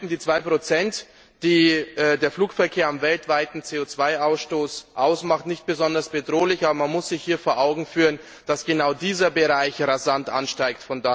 Zwar wirken die zwei Prozent, die der Flugverkehr am weltweiten CO Ausstoss ausmacht, nicht besonders bedrohlich, aber man muss sich hier vor Augen führen, dass genau dieser Bereich rasant ansteigt.